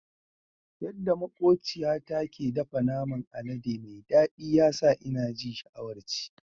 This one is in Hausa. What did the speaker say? Yadda makwabciyata ke dafa naman alade mai daɗi ya sa ina ji sha'awar ci.